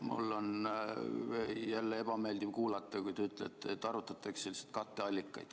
Mul on jälle ebameeldiv kuulata, kui te ütlete, et arutatakse katteallikaid.